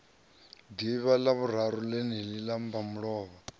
ḓivhi ḽavhuraru ḽeneḽi ḽa mbamulovha